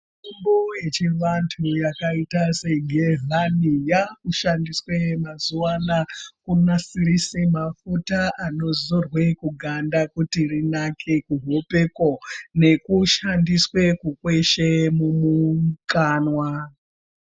Mitombo yechivantu yakaita segezhwani yakushandiswe mazuva anaya kunasirise mafuta anozorwe kuganda kuti rinake kuhopeko. Nekushandiswe kukweshe mumukanwa.